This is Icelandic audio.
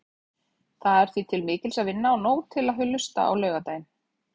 Það er því til mikils að vinna og nóg til að hlusta á laugardaginn.